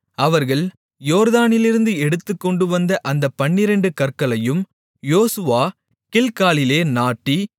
அவர்கள் யோர்தானிலிருந்து எடுத்துக்கொண்டுவந்த அந்தப் பன்னிரண்டு கற்களையும் யோசுவா கில்காலிலே நாட்டி